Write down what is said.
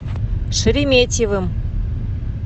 шереметьевым